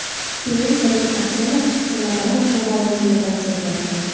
Keyinchalik Aksenov Chemodanovni lavozimidan chetlatgan.